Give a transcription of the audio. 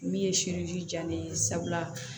Min ye diya ne ye sabula